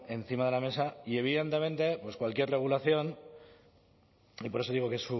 encima de la mesa y evidentemente cualquier regulación y por eso digo que